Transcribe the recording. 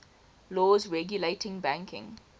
laws regulating banking